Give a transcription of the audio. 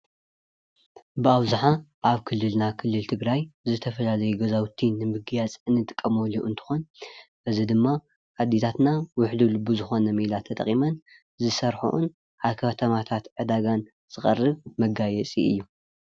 ብኣብዝሓ ኣብ ክልልና ክልል ትግርይ ዝተፈለለየ ገዛውቲ ንመገያፅ እንጥቀሞሉ እንትከውን እዚ ድማ ኣዴታትና ውሕሉል ብዝኮነ ሜላ ተጠቂመን ዝሰርሐኦን ኣብ ከተማታት ዕዳጋን ዝቀርብ መጋየፂ እዩ፡፡